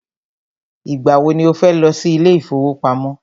Ìgbà wọ ni o fẹ́ lọ sí ilé ìfọwọ́pamo?